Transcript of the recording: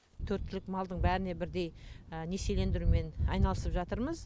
төрт түлік малдың бәріне бірдей несиелендірумен айналысып жатырмыз